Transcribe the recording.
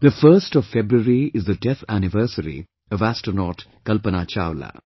"The 1 st of February is the death anniversary of astronaut Kalpana Chawla